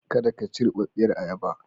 Kada ka ci rubarbiyar ayaba.